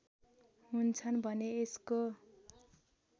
हुन्छन् भने यसको